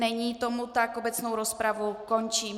Není tomu tak, obecnou rozpravu končím.